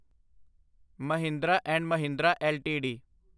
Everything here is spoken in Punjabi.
Mahindra and Mahindra LTD